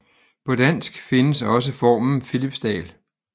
På dansk findes også formen Philipsdal